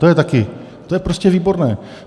To je taky, to je prostě výborné.